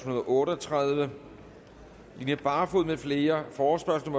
og otte og tredive line barfod med flere forespørgsel